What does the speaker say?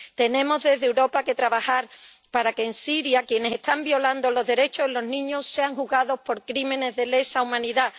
Desde Europa, tenemos que trabajar para que en Siria quienes están violando los derechos de los niños sean juzgados por crímenes de lesa humanidad.